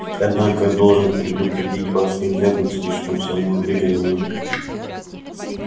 однако я должен предупредить вас нельзя быть слишком самоуверенными